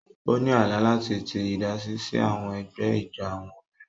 O ni àlá láti ti idasi si àwọn ègbé ijó àwọn obìnrin.